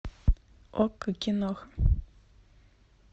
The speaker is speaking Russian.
окко кино